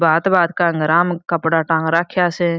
भाँत भाँत का हंगरा म कपडा टांग राख्या स।